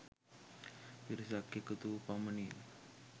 පිරිසක් එකතු වූ පමණින්